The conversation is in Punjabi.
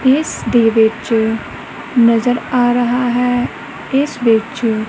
ਇਸ ਦੇ ਵਿੱਚ ਨਜ਼ਰ ਆ ਰਹਾ ਹੈ ਇਸਦੇ ਵਿੱਚ--